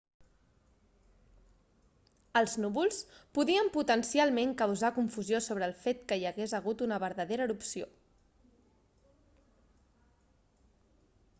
els núvols podien potencialment causar confusió sobre el fet que hi hagués hagut una vertadera erupció